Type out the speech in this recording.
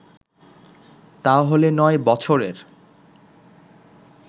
তা হলে নয় বছরের